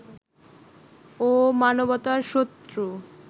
ও মানবতার শত্রু